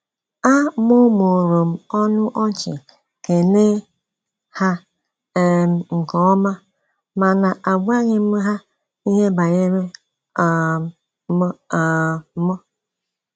A mụmụrụm ọnụ ọchị kele ha um nkeọma, mana agwaghí m ha ihe banyere um m um m